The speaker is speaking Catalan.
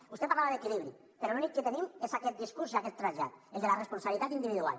vostè parlava d’equilibri però l’únic que tenim és aquest discurs i aquest trasllat el de la responsabilitat individual